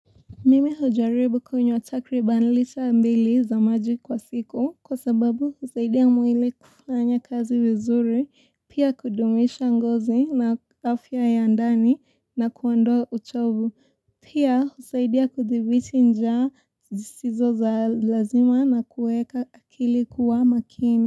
Mimi hujaribu kunywa takriban lita mbili za maji kwa siku kwa sababu kusaidia mwili kufanya kazi vizuri, pia kudumisha ngozi na afya ya ndani na kuondoa uchovu pia kusaidia kudhibiti njaa zisizo la lazima na kuweka akili kuwa makini.